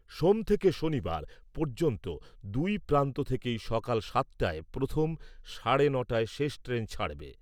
সোম থেকে শনিবার পর্যন্ত দুই প্রান্ত থেকেই সকাল সাতটায় প্রথম, সাড়ে ন'টায় শেষ ট্রেন ছাড়বে।